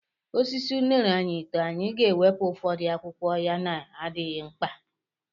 Osisi unere anyị too, anyị na-ewepụ ụfọdụ akwụkwọ ya na-adịghị mkpa.